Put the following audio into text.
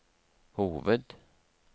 hoved